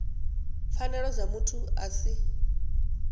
pfanelo dza muthu a si